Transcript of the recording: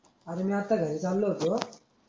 अरे मी आता घरी चाललो होतो.